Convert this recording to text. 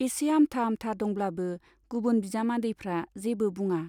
एसे आमथा आमथा दंब्लाबो गुबुन बिजामदैफ्रा जेबो बुङा।